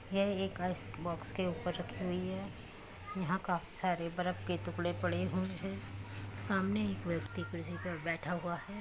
यह एक ice box के ऊपर रखी हुई है यहाँ काफी सारे बर्फ के टुकड़े पड़े हुए है सामने एक व्यक्ति कुर्सी पर बैठा हुआ है।